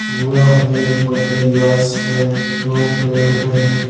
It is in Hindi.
कुआं है पेड़ है।